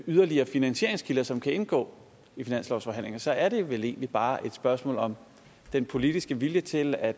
yderligere finansieringskilder som kan indgå i finanslovsforhandlingerne så er det vel egentlig bare et spørgsmål om den politiske vilje til at